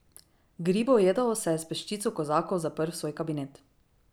Gribojedov se je s peščico kozakov zaprl v svoj kabinet.